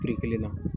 kelen na